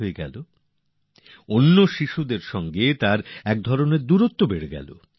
একদিক থেক অন্য শিশুদের সঙ্গে এক ভেদাভেদ যেন মনের ভেতর তৈরী হয়ে গেল